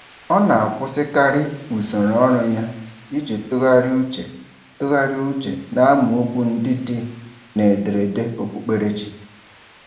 Ọ na-akwụsịkarị usoro ọrụ ya iji tụgharị uche tụgharị uche n’amaokwu ndị dị n’ederede okpukperechi.